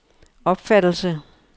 opfattelse